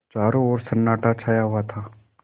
चारों ओर सन्नाटा छाया हुआ था